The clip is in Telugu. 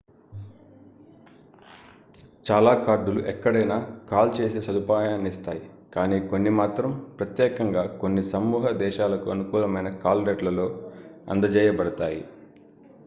చాలా కార్డులు ఎక్కడైనా కాల్ చేసే సదుపాయాన్నిస్తాయి కానీ కొన్ని మాత్రం ప్రత్యేకంగా కొన్ని సమూహ దేశాలకు అనుకూలమైన కాల్ రేట్లలో అందజేయబడతాయి